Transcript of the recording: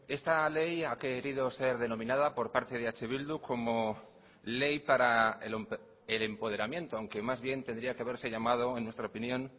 esta ley ha querido ser denominada por parte de eh bildu como ley para el empoderamiento aunque más bien tendría que haberse llamado en nuestra opinión